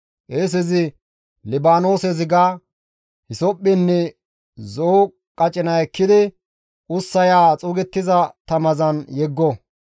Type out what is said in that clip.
Qeesezi Libaanoose ziga, hisophphenne zo7o qacina ekkidi ussaya xuugettiza tamazan yeggo.